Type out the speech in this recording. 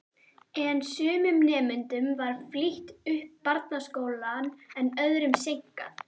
En sumum nemendum var flýtt upp barnaskólann en öðrum seinkað.